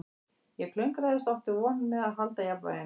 Ég klöngraðist og átti vont með að halda jafnvæginu